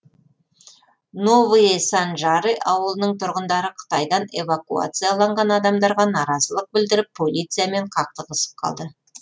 новые санжары ауылының тұрғындары қытайдан эвакуацияланған адамдарға наразылық білдіріп полициямен қақтығысып қалды